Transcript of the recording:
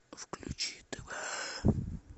включи тв